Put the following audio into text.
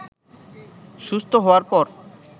সুস্থ হওয়ার পর